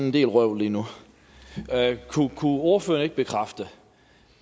en del vrøvl lige nu kunne ordføreren ikke bekræfte